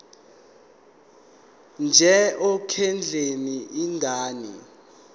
nje ekondleni ingane